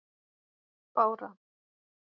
Bára